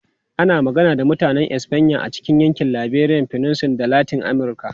Ana magana da Mutanen Espanya a cikin yankin Iberian Peninsula da Latin Amurka.